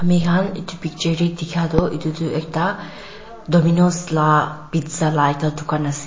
amikhan edu picture tae dikha tu edu tu ekta dominos la pizza la ekta dukan ase--